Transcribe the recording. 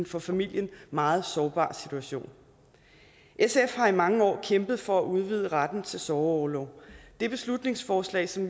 for familien meget sårbar situation sf har i mange år kæmpet for at udvide retten til sorgorlov det beslutningsforslag som